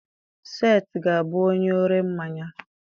Seth ga-abụ onye ọre ḿmáñyá.